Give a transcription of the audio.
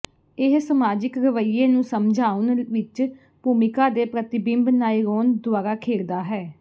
ਇਹ ਸਮਾਜਿਕ ਰਵੱਈਏ ਨੂੰ ਸਮਝਾਉਣ ਵਿੱਚ ਭੂਮਿਕਾ ਦੇ ਪ੍ਰਤਿਬਿੰਬ ਨਾਇਰੋਨ ਦੁਆਰਾ ਖੇਡਦਾ ਹੈ